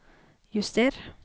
juster